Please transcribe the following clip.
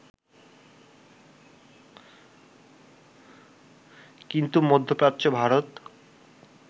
কিন্তু মধ্যপ্রাচ্য, ভারত